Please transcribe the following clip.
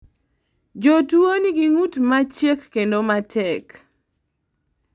jotuwo nigi ng'ut machiek kendo matek